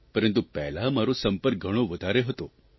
પરંતુ પહેલાં મારો સંપર્ક ઘણો વધારે હતો